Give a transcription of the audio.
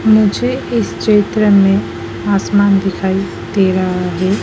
मुझे इस चित्र में आसमान दिखाई दे रहा है।